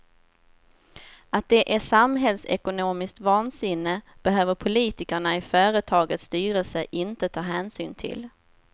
Att det är samhällsekonomiskt vansinne behöver politikerna i företagets styrelse inte ta hänsyn till.